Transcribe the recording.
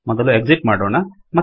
ಮೊದಲು ಎಕ್ಸಿಟ್ ಮಾಡೋಣ